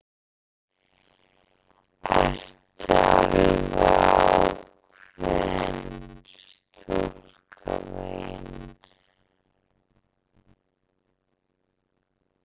Ertu alveg ákveðin, stúlka mín?